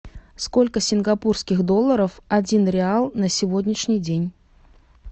сколько сингапурских долларов один реал на сегодняшний день